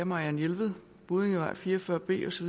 marianne jelved buddingevej fire og fyrre b osv